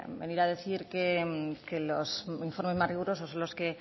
venir a decir que los informes más rigurosos son los que